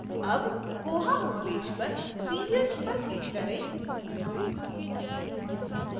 अब koha homepage पर serials पर click करें